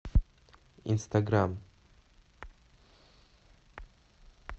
инстаграм